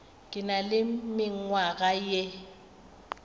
ke na le mengwaga ye